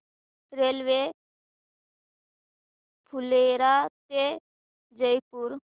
railway Phulera ते जयपूर